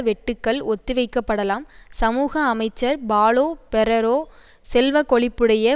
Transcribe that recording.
வெட்டுக்கள் ஒத்திவைக்கப்படலாம் சமூக அமைச்சர் பாலோ பெரெரோ செல்வக்கொழிப்புடைய